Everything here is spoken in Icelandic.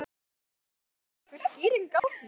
Fréttamaður: Er einhver skýring á því?